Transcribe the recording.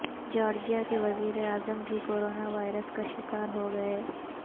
Georgia کے وزیراعظم بھی کورونا وائرس کا شکار ہوگئے